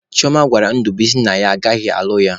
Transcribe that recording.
Chioma gwara Ndubuisi na ya agaghị alụ ya.